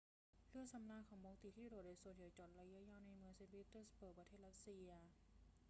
เรือสำราญบอลติกที่โดดเด่นส่วนใหญ่จอดพักระยะยาวในเมืองเซ็นต์ปีเตอร์สเบิร์ก ประเทศรัสเซีย